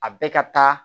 A bɛɛ ka taa